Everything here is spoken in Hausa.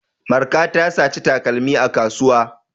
Marka ta saci takalmi a kasuwa.